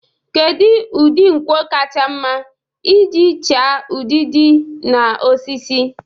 Kedu ụdị nkwọ kacha mma iji chaa udidi na osisi?